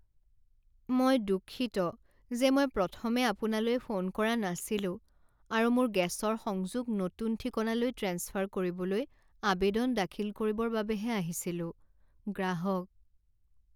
মই দুঃখিত যে মই প্ৰথমে আপোনালৈ ফোন কৰা নাছিলো আৰু মোৰ গেছৰ সংযোগ নতুন ঠিকনালৈ ট্ৰেন্সফাৰ কৰিবলৈ আবেদন দাখিল কৰিবৰ বাবেহে আহিছিলো। গ্ৰাহক